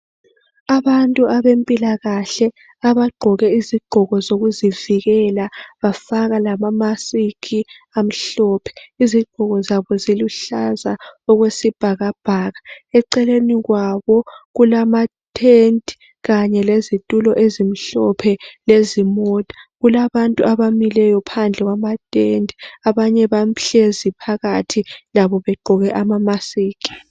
Abantu abempilakahle abagqoke izigqoko zokuzivikela bafaka lamamasiki amhlophe. Izigqoko zabo ziluhlaza okwesibhakabhaka. Eceleni kwabo kulamathenti kanye lezitulo ezimhlophe lezimota. Kulabantu abamileyo phandle kwamatende, abanye bahlezi phakathi labo begqoke amamasiki.